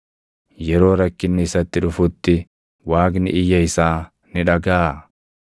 Yeroo rakkinni isatti dhufutti, Waaqni iyya isaa ni dhagaʼaa?